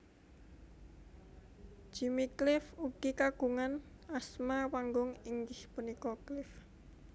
Jimmy Cliff ugi kagungan asma panggung inggih punika Cliff